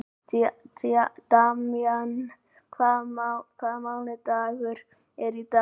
Damjan, hvaða mánaðardagur er í dag?